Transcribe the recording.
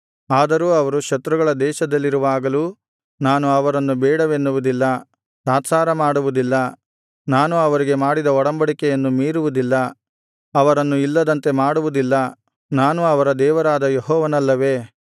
ಆದರೂ ಅವರು ಶತ್ರುಗಳ ದೇಶದಲ್ಲಿರುವಾಗಲೂ ನಾನು ಅವರನ್ನು ಬೇಡವೆನ್ನುವುದಿಲ್ಲ ತಾತ್ಸಾರಮಾಡುವುದಿಲ್ಲ ನಾನು ಅವರಿಗೆ ಮಾಡಿದ ಒಡಂಬಡಿಕೆಯನ್ನು ಮೀರುವುದಿಲ್ಲ ಅವರನ್ನು ಇಲ್ಲದಂತೆ ಮಾಡುವುದಿಲ್ಲ ನಾನು ಅವರ ದೇವರಾದ ಯೆಹೋವನಲ್ಲವೇ